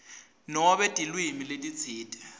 nobe tilwimi letitsite